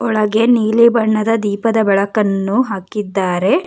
ಒಳಗೆ ನೀಲಿ ಬಣ್ಣದ ದೀಪದ ಬೆಳಕನ್ನು ಹಾಕಿದ್ದಾರೆ.